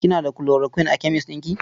Kina da chloroquine a kemes ɗin ki?